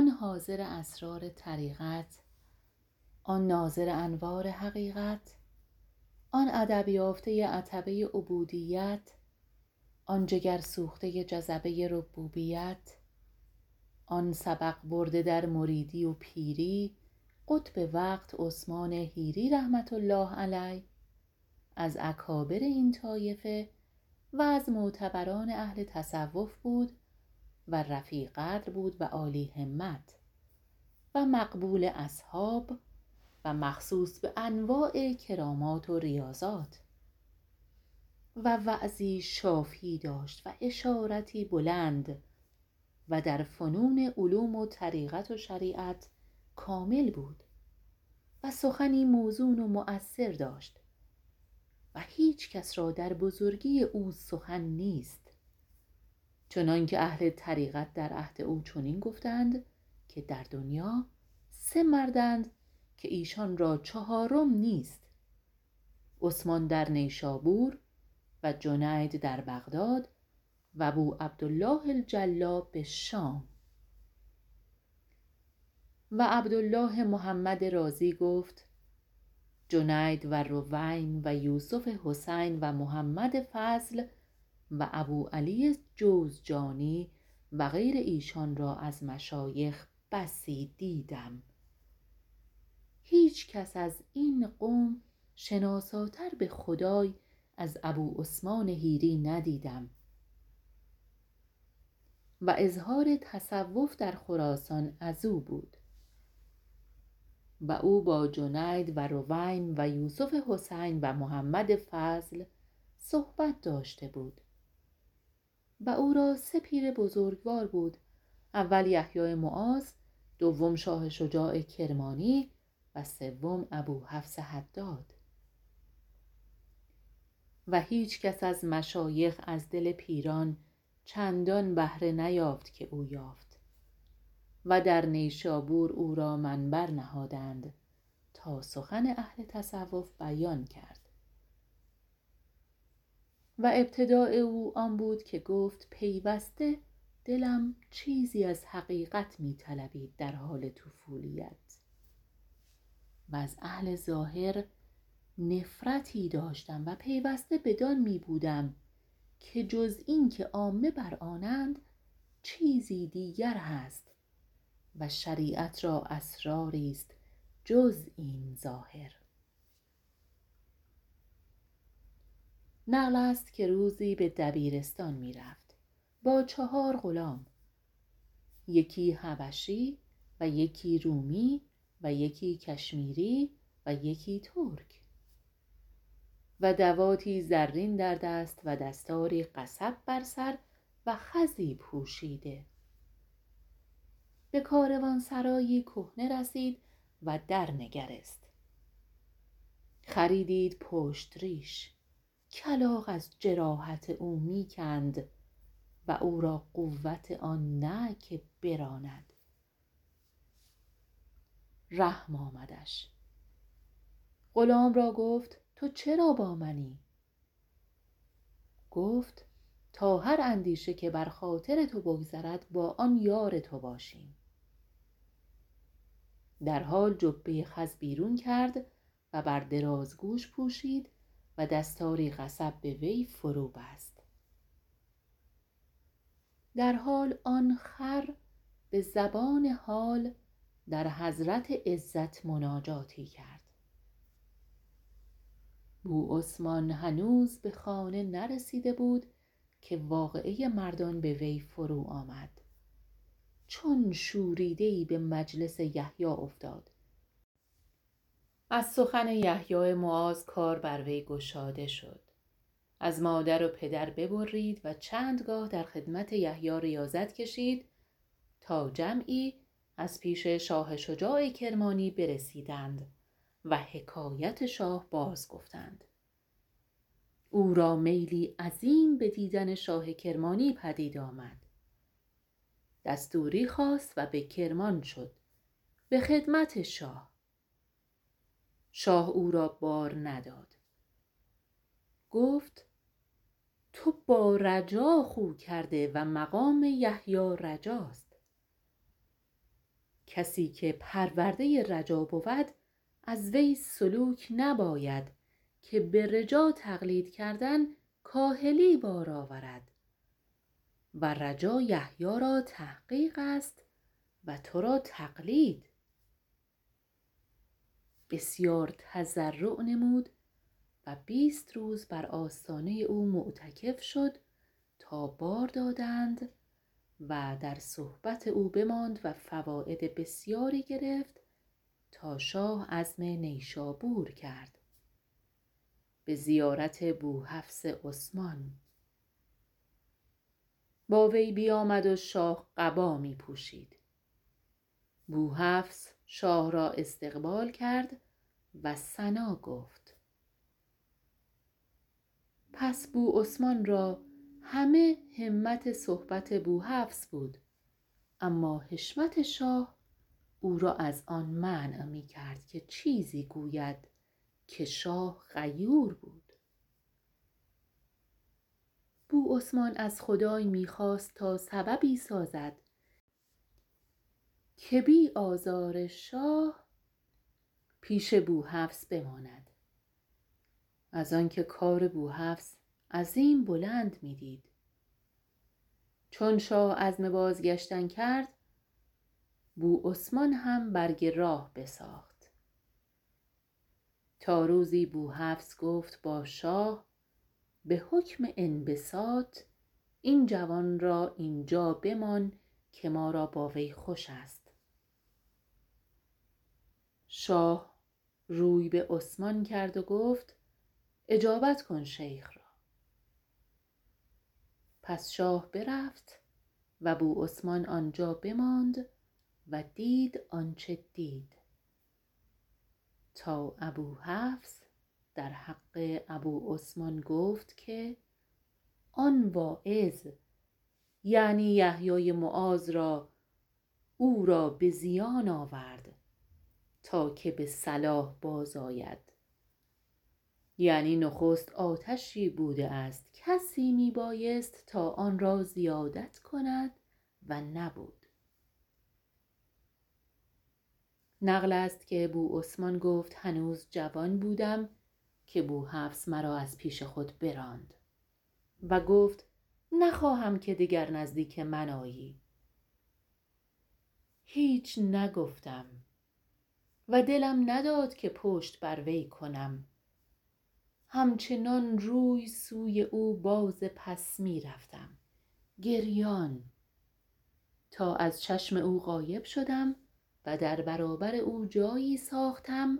آن حاضر اسرار طریقت آن ناظر انوار حقیقت آن ادب یافته عتبه عبودیت آن جگر سوخته جذبه ربوبیت آن سبق برده در مریدی و پیری قطب وقت عثمان حیری رحمة الله علیه از اکابر این طایفه و از معتبران اهل تصوف بود و رفیع قدر بود و عالی همت و مقبول اصحاب و مخصوص بانواع کرامات و ریاضات و وعظی شافی داشت و اشارتی بلند و در فنون علوم و طریقت و شریعت کامل بود و سخنی موزون و مؤثر داشت و هیچکس را در بزرگی او سخن نیست چنانکه اهل طریقت در عهداو چنین گفتند که در دنیا سه مردند که ایشان را چهارم نیست عثمان در نیشابور و جنید در بغداد و بوعبدالله الجلا بشام و عبدالله محمدرازی گفت جنید و رویم و یوسف حسین و محمد فضل و ابوعلی جوزجانی و غیر ایشان را از مشایخ بسی دیدم هیچکس از این قوم شناساتر بخدای از ابوعثمان حیری ندیدم و اظهار تصوف در خراسان ازو بود و او با جنید و روبم و یوسف حسین و محمدفضل صحبت داشته بود و او را سه پیر بزرگوار بود اول یحیی معاد و دوم شاه شجاع کرمانی و سوم ابوحفص حداد و هیچکس از مشایخ ازدل پیران چندان بهره نیافت که او یافت و در نیشابور او را منبر نهادند تا سخن اهل تصوف بیان کرد و ابتداء او آن بود که گفت پیوسته دلم چیزی از حقیقت می طلبید در حال طفولیت و از اهل ظاهر نفرتی داشتم و پیوسته بدان می بودم که جز این که عامه بر آنند چیزی دیگر هست و شریعت را اسراریست جز این ظاهر نقلست که روزی به دبیرستان می رفت با چهار غلام یکی حبشی و یکی رومی و یکی کشمیری و یکی ترک و دواتی زرین در دست و دستاری قصب بر سر و خزی پوشیده بکاروانسرایی کهنه رسید و در نگریست خری دید پشت ریش کلاغ از جراحت او می کند و اور ا قوت آن نه که براند رحم آمدش غلام را گفت تو چرا با منی گفت تا هر اندیشه که بر خاطر تو بگذرد با آن یار تو باشیم در حال جبه خز بیرون کرد و بر دراز گوش پوشید و دستاری قصب بوی فرو بست در حال آن خر به زبان حال در حضرت عزت مناجاتی کرد بوعثمان هنوز به خانه نرسیده بود که واقعه مردان بوی فرو آمد چون شوریده به مجلس یحیی افتاد از سخن یحیی معاذ کار بروی گشاده شد از مادر و پدر ببرید و چندگاه درخدمت یحیی ریاضت کشید تا جمعی از پیش شاه شجاع کرمانی برسیدند و حکایت شاه بازگفتند او را میلی عظیم بدیدن شاه کرمانی پدید آمد دستوری خواست و به کرمان شد به خدمت شاه شاه او را بار نداد گفت تو بارجاخو کرده و مقام یحیی رجاست کسی که پرورده رجا بود از وی سلوک نباید که بر جا تقلید کردن کاهلی بار آورد و رجا یحیی را تحقیق است و ترا تقلید بسیار تضرع نمود و بیست روز بر آستانه او معتکف شد تا بار دادند در صحبت او بماندو فواید بسیاری گرفت تا شاه عزم نیشابور کرد به زیارت بوحفص عثمان با وی بیامد و شاه قبا می پوشید بوحفص شاه را استقبال کرد و ثنا گفت پس بوعثمان را همه همت صحبت بوحفص بود اما حشمت شاه او را از آن منع می کرد که چیزی گوید که شاه غیور بود بوعثمان ازخدای می خواست تا سببی سازد که بی آزار شاه پیش بوحفص بماند از آنکه کار بوحفص عظیم بلند می دید چون شاه عزم بازگشتن کرد بوعثمان هم برگ راه بساخت تاروزی بوحفص گفت با شاه به حکم انبساط این جوان را اینجا بمان که ما را با وی خوش است شاه روی به عثمان کرد و گفت اجابت کن شیخ را پس شاه برفت و بوعثمان آنجا بماند و دید آنچه دید تا ابوحفص در حق ابوعثمان گفت که آن واعظ یعنی یحیی معاذ را او را به زیان آورد تا که به صلاح باز آید یعنی نخست آتشی بوده است کسی می بایست تا آن را زیادت کند و نبود نقلست که بوعثمان گفت هنوز جوان بودم که بوحفص مرا از پیش خود براند و گفت نخواهم که دگر نزدیک من آیی هیچ نگفتم و دلم نداد که پشت بر وی کنم همچنان روی سوی او بازپس می رفتم گریان تا از چشم او غایب شدم ودر برابر او جایی ساختم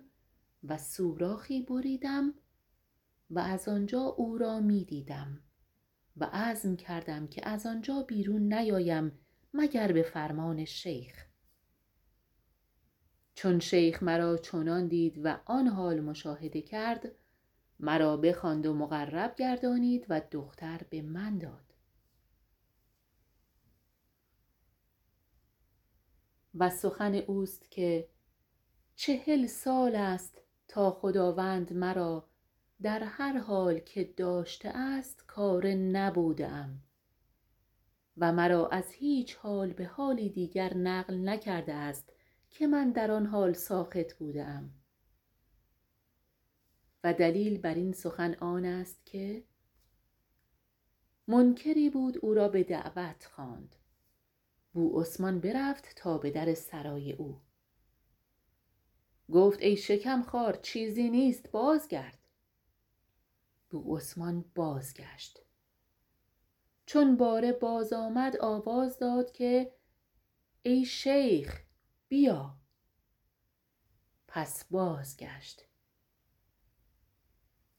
و سوراخی بریدم و از آنجا او را می دیدم و عزم کردم که از آنجا بیرون نیایم مگر به فرمان شیخ چون شیخ مرا چنان دید و آن حال مشاهده کرد مرا بخواند و مقرب گردانید ودختر بمن داد و سخن اوست که چهل سال است تا خداوند مرا در هر حال که داشته است کاره نبوده ام و مرا از هیچ حال به حالی دیگر نقل نکرده است که من در آن حال ساخط بوده ام و دلیل برین سخن آنست که منکری بود او را به دعوت خواند بوعثمان برفت تا بدرسرای او گفت ای شکم خوار چیزی نیست بازگرد بوعثمان بازگشت چون باره بازآمد آوزا داد که ای شیخ یا پس بازگشت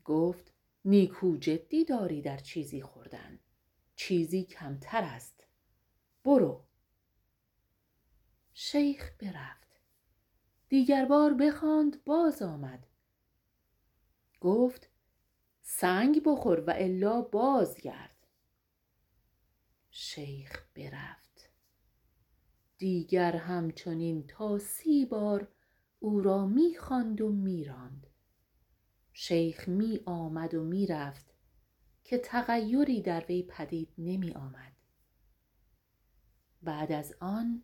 گفت نیکو جدی داری در چیزی خوردن کمتر است برو شیخ برفت دیگر بار بخواند باز آمد گفت سنگ بخور و الا بازگرد شیخ برفت دیگر همچنین تاسی بار او را می خواند و می راند شیخ می آمد و می رفت که تغیری در وی پدید نمی آمد بعد از آن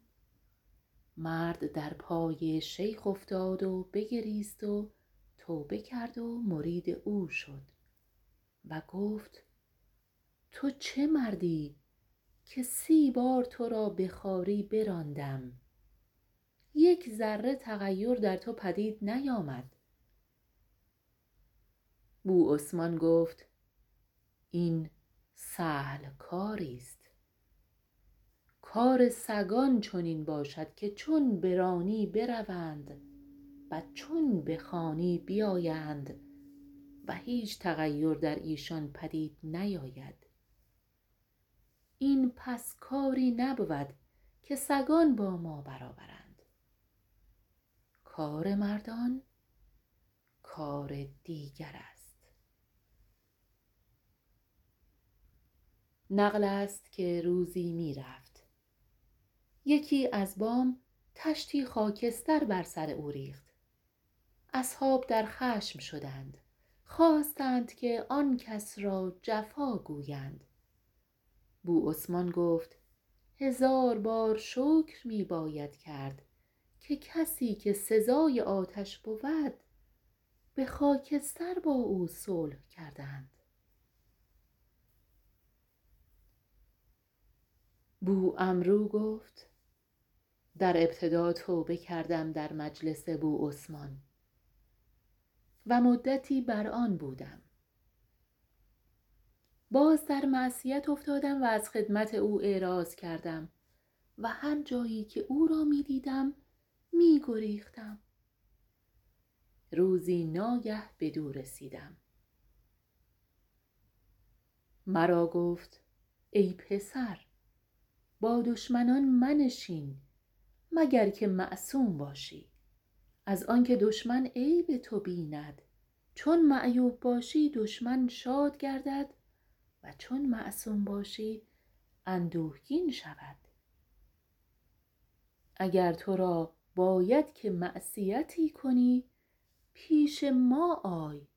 مرد در پای شیخ افتاد و بگریست و توبه کرد و مرید او شد و گفت تو چه مردی که سی بار ترا بخواری براندم یک ذره تغیر در تو پدید نیامد بوعثمان گفت این سهل کاریست کار سگان چنین باشد که چون برانی بروند و چون بخوانی بیایند و هیچ تغیر در ایشان پدید نیاید این پس کاری نبود که سگان با ما برابرند کار مردان کار دیگر است نقلست که روزی می رفت یکی از بام طشتی خاکستر بر سر او ریخت اصحاب در خشم شدند خواستند که آنکس را جفا گویند بوعثمان گفت هزار بار شکر می باید کرد که کسی که سزای آتش بود به خاکستر با او صلح کردند بوعمرو گفت در ابتدا توبه کردم در مجلس بوعثمان و مدتی بر آن بودم باز در معصیت افتادم و از خدمت او اعراض کردم و هر جایی که او را می دیدم می گریختم روزی ناگه بدو رسیدم مر او گفت ای پسر با دشمنان منشین مگر که معصوم باشی از آنکه دشمن عیب تو بیند چون معیوب باشی دشمن شاد گردد و چون معصوم باشی اندوهگین شود اگر ترا باید که معصیتی کنی پیش ما آی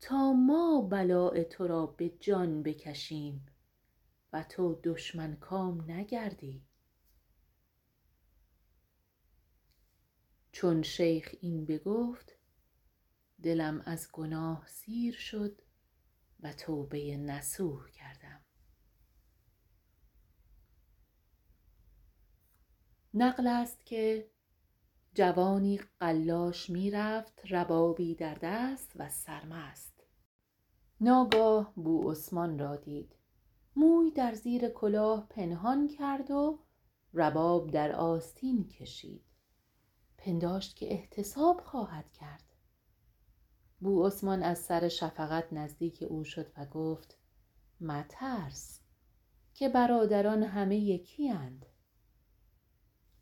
تا ما بلاء ترا به جان بکشیم و تو دشمن کام نگردی چون شیخ این بگفت دلم از گناه سیر شد و توبه نصوح کردم نقلست که جوانی قلاش می رفت ربابی در دست و سرمست ناگاه بوعثمان رادید موی در زیر کلاه پنهان کرد و رباب در آستین کشید پنداشت که احتساب خواهد کرد بوعثمان از سر شفقت نزدیک او شد و گفت مترس که برادران همه یکی اند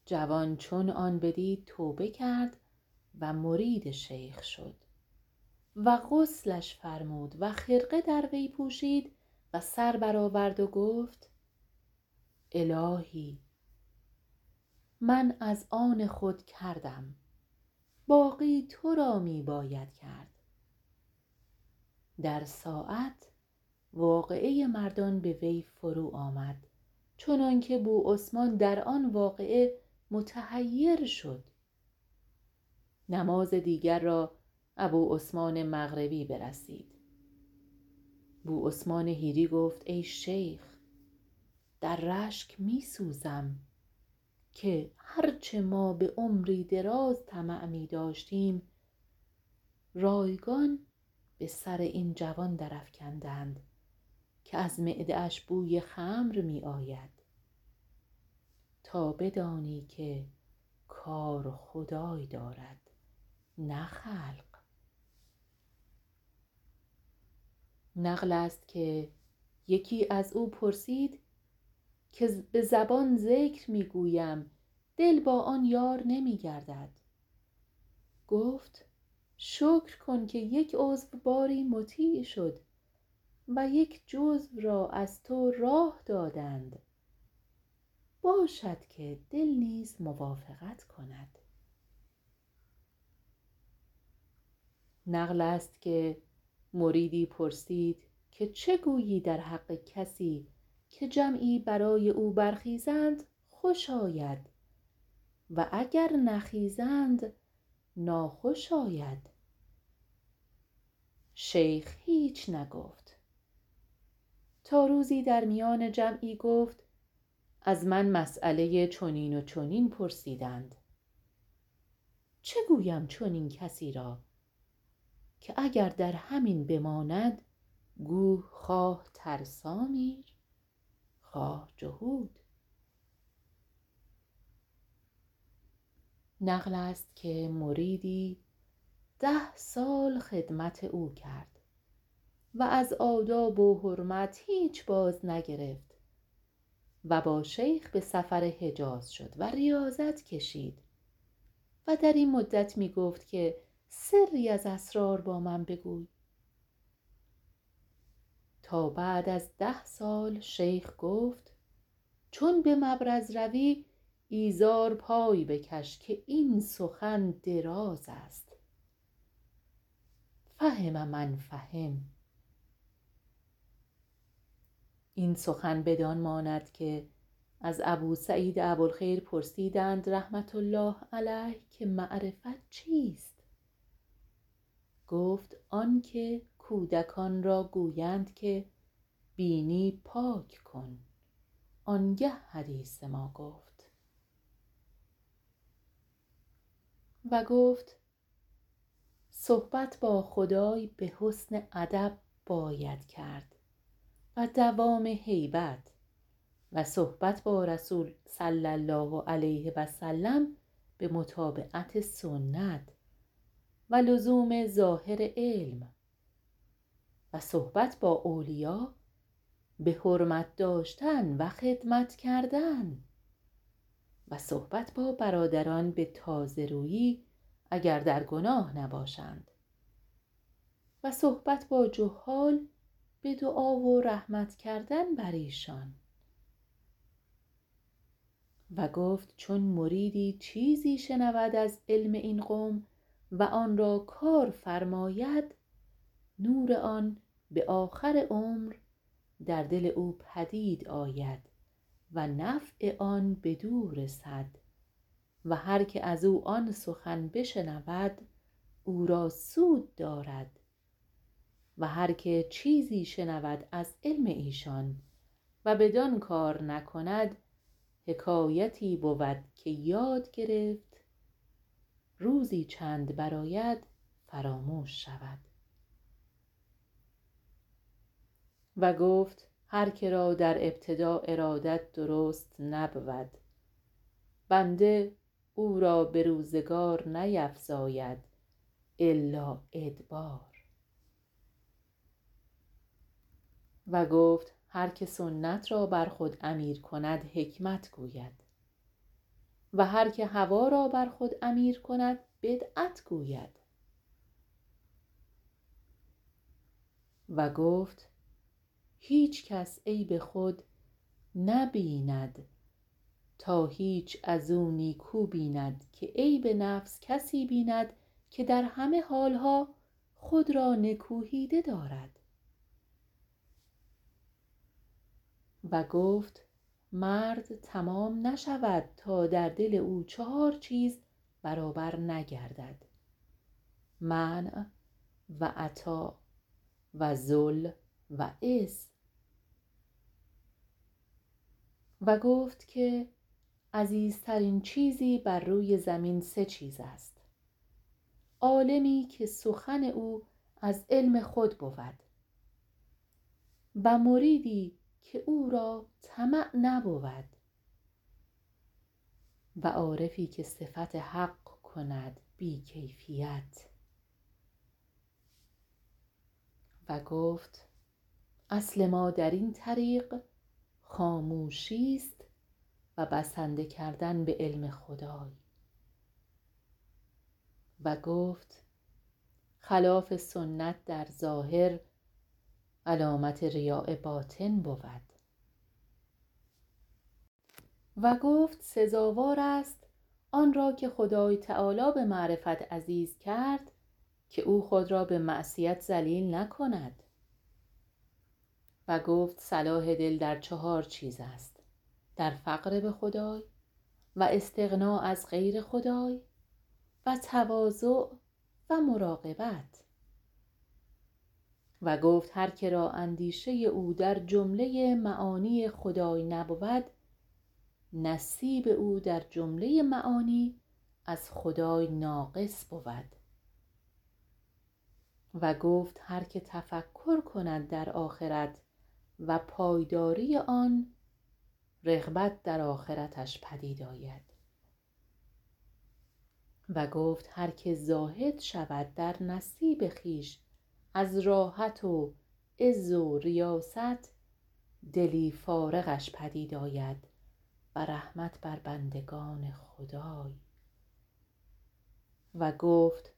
جوان چون آن بدید توبه کرد و مرید شیخ شد و عسلش فرمود و خرقه در وی پوشید و سربرآورد و گفت الهی من از آن خود کردم باقی ترا می باید کرد در ساعت واقعه مردان بوی فرو آمد چنانکه بوعثمان در آن واقعه متحیر شد نماز دیگر را ابوعثمان مغربی برسید بوعثمان حیری گفت ای شیخ در رشک می سوزم که هرچه ما بعمری دراز طمع می داشتیم رایگان بسر این جوان درافکندند که از معده اش بوی خمر می آید تا بدانی که کار خدای دارد نه خلق نقلست که یکی از او پرسید که به زبان ذکر می گویم دل با آن یار نمی گردد گفت شکر کن که یک عضو باری مطیع شد و یک جزو را از تو راه دادند باشد که دل نیز موافقت کند نقلست که مریدی پرسید که چگویی در حق کسی که جمعی برای او برخیزند خوش آید و اگر نخیزند ناخوش آید شیخ هیچ نگفت تا روزی در میان جمعی گفت از من مسیله چنین و چنین پرسیدند چه گویم چنین کسی را که اگر در همین بماند گو خواه ترسا میرخواه جهود نقلست که مریدی ده سال خدمت او کرد و از آداب و حرمت هیچ بازنگرفت و با شیخ به سفر حجاز شد و ریاضت کشید و در این مدت می گفت که سری از اسرار با من بگوی تا بعد از ده سال شیخ گفت چون بمبرز روی ایزار پای بکش که این سخن دراز است فهم من فهم این سخن بدان ماند که از ابوسعید ابوالخیر پرسیدند رحمةالله علیه که معرفت چیست گفت آنکه کودکان را گویند که بینی پاک کن آنگه حدیث ما گفت و گفت صحبت با خدای به حسن ادب باید کرد و دوام هیبت و صحبت با رسول صلی الله و علیه و سلم به متابعت سنت و لزوم ظاهر علم و صحبت با اولیا به حرمت داشتن و خدمت کردن و صحبت با برادران بتازه رویی اگر در گناه نباشند و صحبت با جهال بدعا و رحمت کردن بر ایشان و گفت چون مریدی چیزی شنود از علم این قوم و آن را کار فرماید نور آن به آخر عمر در دل او پدید آید ونفع آن بدو رسد و هرکه ازو آن سخن بشنود او را سود دارد و هر که چیزی شنود از علم ایشان و بدان کار نکند حکایتی بود که یاد گرفت روزی چند برآید فراموش شود و گفت هر که را در ابتداء ارادت درست نبود بنده اور ا به روزگار نیفزاید الا ادبار و گفت هرکه سنت را بر خود امیر کند حکمت گوید و هر که هوا را بر خود امیر کند بدعت گوید و گفت هیچ کس عیب خود نه بیند تا هیچ ازو نیک و بیند که عیب نفس کسی بیند که در همه حالها خود رانکوهیده دارد و گفت مرد تمام نشود تا در دل او چهار چیز برابر نگردد منع و عطا و ذل و عز وگفت که عزیزترین چیزی بروی زمین سه چیز است عالمی که سخن او از علم خودبود و مریدی که او را طمع نبود و عارفی که صفت حق کند بی کیفیت و گفت اصل ما درین طریق خاموشی است و بسنده کردن به علم خدای و گفت خلاف سنتدر ظاهر علامت ریاء باطن بود و گفت سزاوار است آنرا که خدای تعالی به معرفت عزیز کرد که او خود را به معصیت ذلیل نکند و گفت صلاح دل در چهار چیز است در فقر به خدای و استغنا از غیر خدای و تواضع و مراقبت و گفت هر کرا اندیشه او در جمله معانی خدای نبود نصیب او در جمله معانی ازخدای ناقص بود و گفت هر که تفکر کند در آخرت و پایداری آن رغبت در آخرتش پدید آید و گفت هر که زاهد شود در نصیب خویش از راحت و عز و ریاست دلی فارغش پدید آید و رحمت بر بندگان خدای و گفت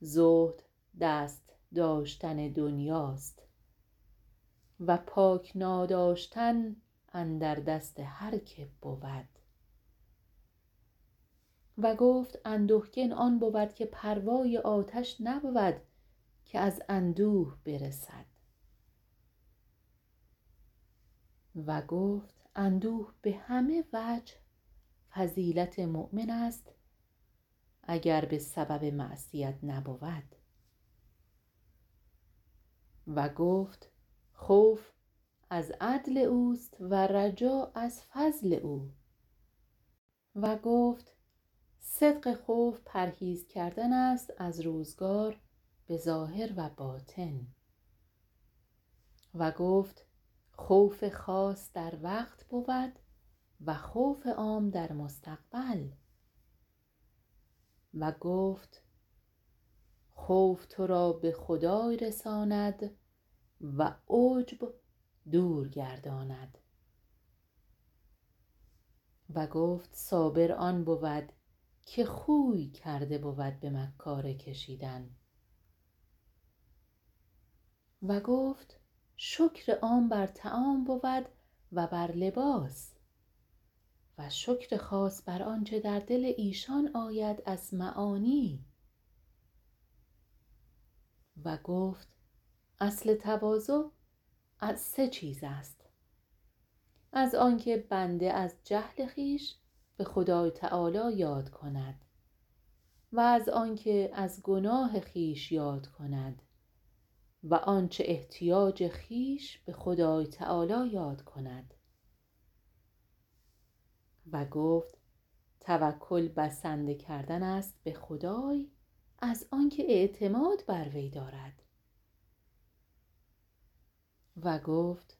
زهد دست داشتن دنیاست و پاک ناداشتن اندر دست هر که بود و گفت اندوهگین آن بود که پروای آتش نبود که از اندوه برسد و گفت اندوه بهمه وجه فضیلت مؤمن است اگر به سبب معصیت نبود و گفت خوف از عدل اوست و رجا از فضل او و گفت صدق خوف پرهیز کردن است از روزگار بظاهر و باطن و گفت خوف خاص در وقت بود و خوف عام در مستقبل و گفت خوف ترا به خدای رساند و عجب دور گرداند و گفت صابر آن بود که خوی کرده بود به مکاره کشیدن و گفت شکر عام بر طعام بود و بر لباس و شکر خاص بر آنچه در دل ایشان آید از معانی و گفت اصل تواضع از سه چیز است از آنکه بنده از جهل خویش به خدای تعالی یاد کندو از آنکه از گناه خویش یاد کند و آنچه احتیاج خویش به خدای تعالی یاد کندوگفت توکل بسنده کردن است به خدای از آنکه اعتماد بروی دارد و گفت